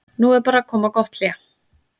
Nú er bara að koma gott hlé.